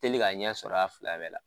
Teli ka ɲɛ sɔrɔ a fila bɛɛ la.